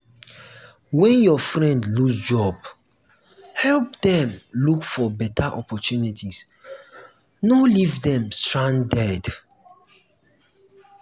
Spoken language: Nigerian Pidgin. when your friend lose job help dem look for better opportunities no leave dem stranded.